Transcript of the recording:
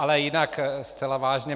Ale jinak zcela vážně.